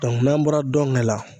n'an bɔra dɔnkɛ la